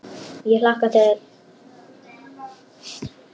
Ég hlakka til.